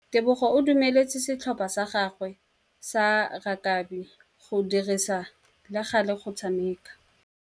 Tebogô o dumeletse setlhopha sa gagwe sa rakabi go dirisa le galê go tshameka.